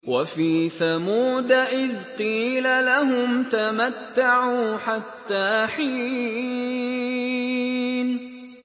وَفِي ثَمُودَ إِذْ قِيلَ لَهُمْ تَمَتَّعُوا حَتَّىٰ حِينٍ